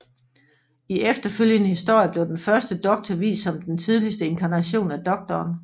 I efterfølgende historier blev den Første Doktor vist som den tidligste inkarnation af Doktoren